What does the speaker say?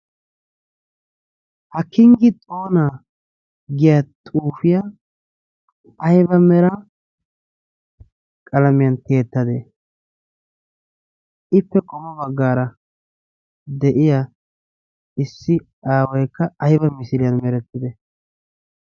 Ha kinggi xoona giya xuufiyaa ayba mera qalamiyan tiyettade? Ippe qommo baggaara de'iya issi aawaykka aybba misiiliyan merettide?